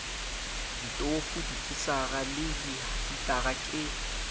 ditofo dikisara le dihitara ke